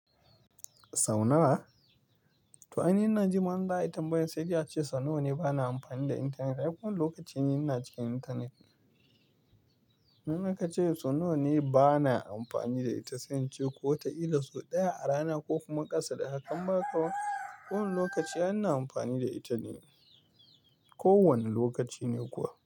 Sau nawa? To ai ni ina ji ma in za ai tambayan sai dai ace sau nawa ne ba na amfani da intanet. Ai kowanne lokaci ni na cikin intanet. In akace sau nawa ne bana amfani da ita sai in ce ko watakila sau ɗaya a rana ko kuma ƙasa da hakan in ba haka ba. Kowane lokaci ai ina amfani da ita ne. Ko wane lokaci ne kuwa.